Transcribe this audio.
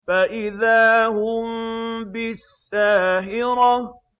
فَإِذَا هُم بِالسَّاهِرَةِ